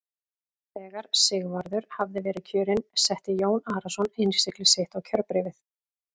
Þegar Sigvarður hafði verið kjörinn setti Jón Arason innsigli sitt á kjörbréfið.